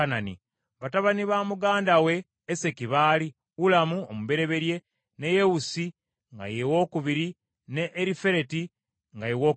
Batabani ba muganda we Eseki baali Ulamu omubereberye, ne Yewusi nga ye owookubiri ne Erifereti nga ye wookusatu.